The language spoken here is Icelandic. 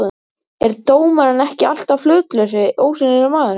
er dómarinn ekki alltaf hlutlausi, ósýnilegi maðurinn?